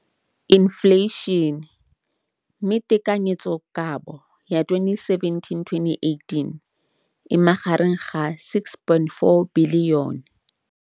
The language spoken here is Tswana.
Infleišene, mme tekanyetsokabo ya 2017, 18, e magareng ga R6.4 bilione.